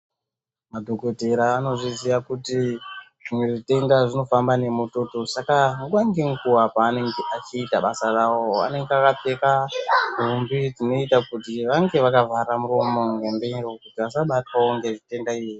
Madhokotera anozviziya kuti zvimwe zvitenda zvinofamba nemututu. Saka nguva ngenguva paanenge achiita basaravo anenge akapfeka nhumbi dzinoita kuti vange vakavhara muromo ngemiro, kuti vasabatwavo ngezvitenda izvi.